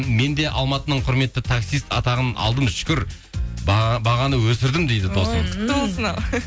мен де алматының құрметті таксист атағын алдым шүкір бағаны өсірдім дейді